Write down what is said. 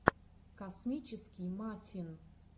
космический маффин